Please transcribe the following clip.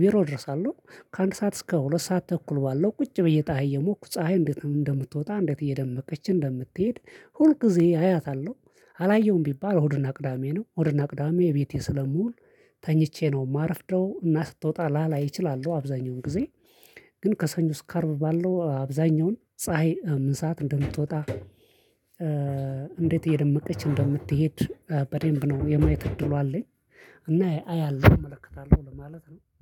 ቢሮ እደርሳለሁ ከአንድ ሰዓት እስከ ሁለት ሰዓት ተኩል ባለው ቁጭ ብዬ ፀሀይ እየሞኩ ፀሀይ እንዴት እንደምትወጣ እንዴት እየደመቀች እንደምትሄድ ሁል ጊዜ አያታለሁ። አላየሁም ቢባል እሁድ እና ቅዳሜ ነው እሁድ እና ቅዳሜ ቤቴ ስለምውል ተኝቼ ነው የማረፍደው እና ስትወጣ ላላይ እችላለሁ። አብዛኛው ጊዜ ግን ከሰኞ እስከ አርብ ባለው አብዛኛውን ፀሀይ ምን ሰዓት እንደምትወጣ? እንዴት እየደመቀች እንደምትሄድ በደንብ ነው የማየት እድሉ አለኝ። እና አያለሁ እመለከታለሁ ለማለት ነው